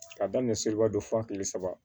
K'a daminɛ seliba dɔ fo kile saba